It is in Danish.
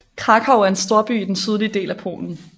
Kraków er en storby i den sydlige del af Polen